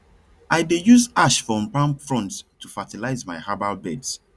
i dey use ash from palm fronds to fertilize my herbal beds